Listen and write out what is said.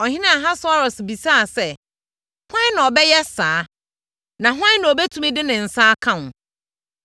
Ɔhene Ahasweros bisaa sɛ, “Hwan na ɔbɛyɛ saa? Na hwan na ɔbɛtumi de ne nsa aka wo?”